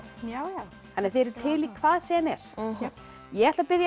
já þið eruð til í hvað sem er ég ætla að biðja